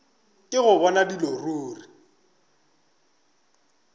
ke go bona dilo ruri